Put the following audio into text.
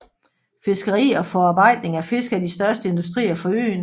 Fiskeri og forarbejdning af fisk er de største industrier for øen